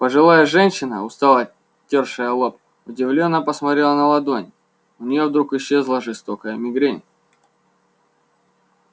пожилая женщина устало тёршая лоб удивлённо посмотрела на ладонь у неё вдруг исчезла жестокая мигрень